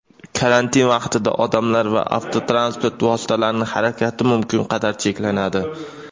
Karantin vaqtida odamlar va avtotransport vositalarining harakati mumkin qadar cheklanadi.